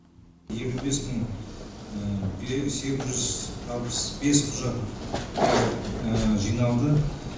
елу бес мың сегіз жүз алпыс бес құжат жиналды